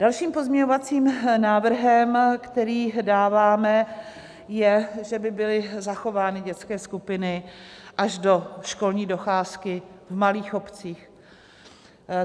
Dalším pozměňovacím návrhem, který dáváme, je, že by byly zachovány dětské skupiny až do školní docházky v malých obcích.